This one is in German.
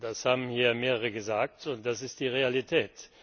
Das haben hier mehrere gesagt, und das ist die Realität.